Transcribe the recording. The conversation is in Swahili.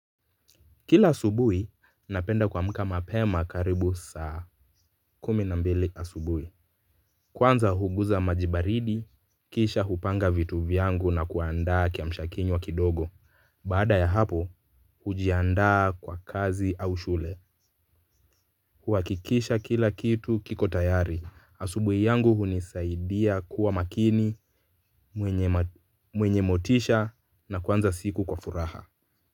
Kila asubuhi, napenda kuamka mapema karibu saa kumi na mbili asubuhi. Kwanza huguza maji baridi, kisha hupanga vitu vyangu na kuandaa kiamshakinywa kidogo. Baada ya hapo, hujiandaa kwa kazi au shule. Kuhakikisha kila kitu kiko tayari, asubuhi yangu hunisaidia kuwa makini, mwenye motisha na kuanza siku kwa furaha.